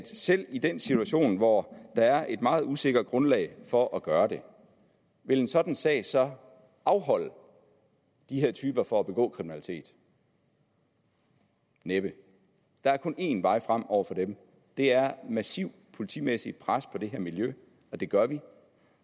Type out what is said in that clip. selv i den situation hvor der er et meget usikkert grundlag for at gøre det vil en sådan sag så afholde de her typer fra at begå kriminalitet næppe der er kun én vej frem over for dem og det er massivt politimæssigt pres på det her miljø det gør vi